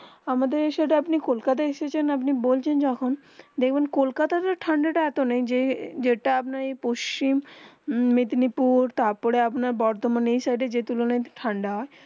আমাদের এই সাইড আপনি কলকাতা এসেছেন আপনি বলছেন যখন দেখবে কলকাতা তে ঠান্ডা তা এত নেই যেটা আপনার পশ্চিম মেদিনীপুর তার পরে আপনার বরোধমান যে সাইড এই তুলুন তে ঠান্ডা